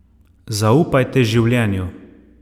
Zaupajte življenju.